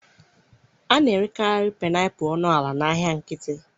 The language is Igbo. A na-erekarị painiapulu ọnụ ala n'ahịa nkịtị.